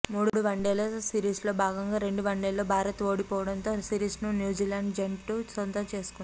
మూడు వన్డేల సిరీస్లో భాగంగా రెండు వన్డేల్లో భారత్ ఓడిపోవడంతో సిరీస్ను న్యూజిలాండ్ జట్టు సొంతం చేసుకుంది